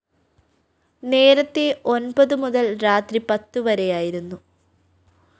നേരത്തേ ഒന്‍പതു മുതല്‍ രാത്രി പത്തുവരെയായിരുന്നു